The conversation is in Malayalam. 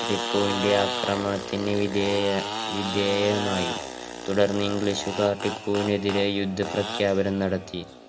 ടിപ്പുവിന്റെ ആക്രമണത്തിന് വിധേയ~വിധേയമായി തുടർന്ന് english കാർ ടിപ്പുവിനെതിരെ യുദ്ധ പ്രഖ്യാപനം നടത്തി